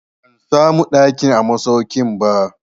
Ban samu ɗaki a masaukin ba.